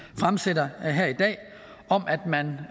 fremsætter her i dag om at man